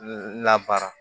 Labara